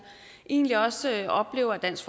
egentlig også oplever at dansk